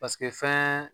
Paseke fɛn